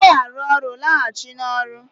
Ị naghị arụ ọrụ, laghachi n'ọrụ